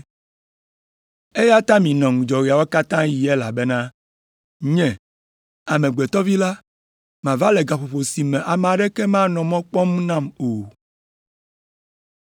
Eya ta minɔ ŋudzɔ ɣeawo katã ɣi elabena, Nye, Amegbetɔ Vi la, mava le gaƒoƒo si me ame aɖeke manɔ mɔ kpɔm nam o.”